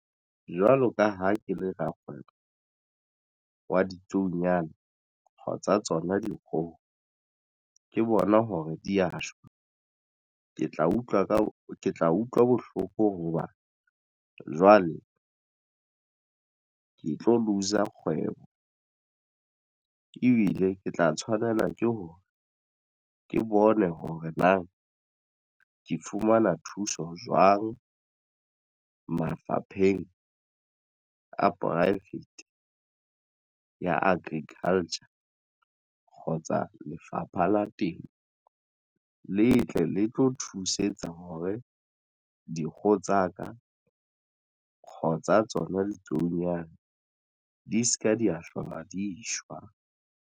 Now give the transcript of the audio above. Jwalo ka ha ke le rakgwebo wa ditsuonyana tsa tsona dikgoho ke bona hore di ya shwa. Ke tla utlwa ka ke tla utlwa bohloko hoba jwale ke tlo looser kgwebo ebile ke tla tshwanela ke hore ke bone hore na ke fumana thuso jwang mafapheng a pivate ya agriculture kgotsa Lefapha la Temo le tle le tlo thusetsa hore dikgoho tsa ka kgotsa tsona ditsuonyana di se ke di ya hlola di shwa.